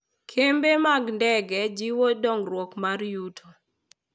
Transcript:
Kembe mag ndege jiwo dongruok mar yuto.